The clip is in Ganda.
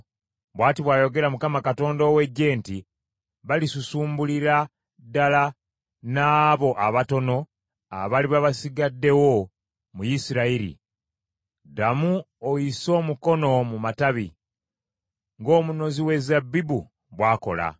Bw’ati bw’ayogera Mukama Katonda ow’Eggye nti, “Balisusumbulira ddala n’abo abatono abaliba basigaddewo mu Isirayiri. Ddamu oyise omukono mu matabi ng’omunozi we zabbibu bw’akola.”